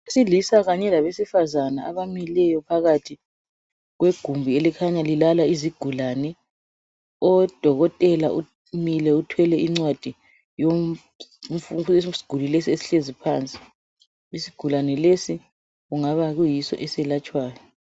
Abesilisa labesifazane abamileyo phakathi kwegumbi elikhanya lilala izigulane udokotela umile uthwele incwadi yesigulane esihlezi phansi. Isigulane lesi kungaba kuyiso eselatshwayo.